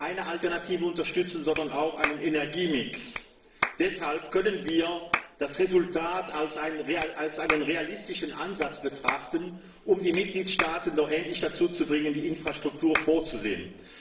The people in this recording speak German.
eine Alternative unterstützen, sondern auch einen Energiemix. Deshalb können wir das Resultat als einen realistischen Ansatz betrachten, um die Mitgliedstaaten doch endlich dazu zu bringen, die Infrastruktur vorzusehen.